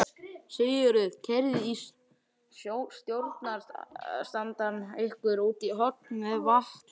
Sigríður: Keyrði stjórnarandstaðan ykkur út í horn með vatnalögin?